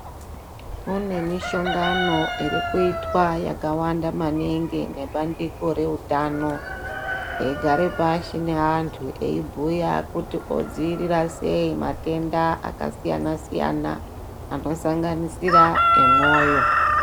Kune mishongano iri kuyitwa yakawanda maningi nebandiko reutano, eyigara pashi neantu eyibhuya kuti odziyirira sei matenda akasiyana-siyana, anosanganisira emwoyo.